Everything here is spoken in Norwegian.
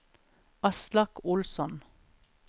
Aslak Olsson